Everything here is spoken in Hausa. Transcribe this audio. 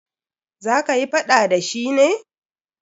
Za kayi faɗa da shi ne?